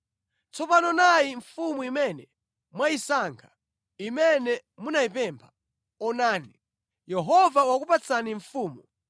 Tsopano nayi mfumu imene mwayisankha, imene munayipempha. Onani, Yehova wakupatsani mfumu.